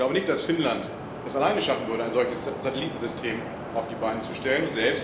Ich glaube nicht, dass Finnland es alleine schaffen würde, ein solches Satellitensystem auf die Beine zu stellen.